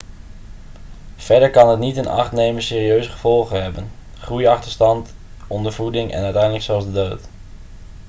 verder kan het niet in acht nemen serieuze gevolgen hebben groeiachterstand ondervoeding en uiteindelijk zelfs de dood